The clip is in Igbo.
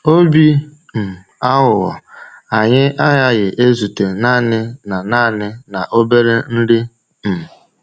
“Obi um aghụghọ” anyị agaghị ezute naanị na naanị na obere nri. um